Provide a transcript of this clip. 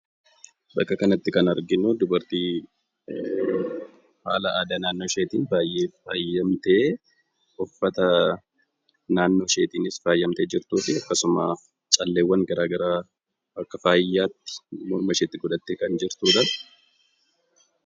Bakka kanatti kan arginu dubartii haala aadaa naannoo isheetiin baay'ee faayamtee, uffata naannoo isheetiinis faayamtee jirtuu fi akkasuma calleewwan garaa garaa akka faayaatti mormasheetti godhattee kan jirtudha.